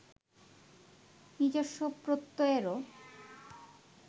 নিজস্ব প্রত্যয়েরও